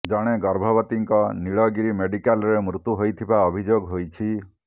ଜଣେ ଗର୍ଭବତୀଙ୍କ ନୀଳଗିରି ମେଡିକାଲରେ ମୃତ୍ୟୁ ହୋଇଥିବା ଅଭିଯୋଗ ହୋଇଛି